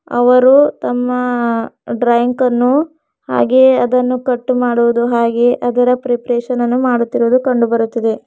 ಅವರು ತಮ್ಮ ಡ್ರಾಯಿಂಗ್ ಅನ್ನು ಹಾಗೆ ಅದನ್ನು ಕಟ್ಟು ಮಾಡುವುದು ಹಾಗೆ ಅದರ ಪ್ರಿಪರೇಷನ್ ಅನ್ನು ಮಾಡುತ್ತಿರುವುದು ಕಂಡು ಬರುತ್ತಿದೆ.